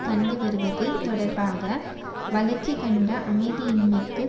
கண்டுவருவது தொடர்பாக வளர்ச்சி கண்ட அமைதியின்மைக்கு